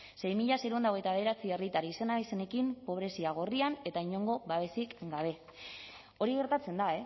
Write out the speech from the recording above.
sei mila seiehun eta hogeita bederatzi herritar izen abizenekin pobrezia gorrian eta inongo babesik gabe hori gertatzen da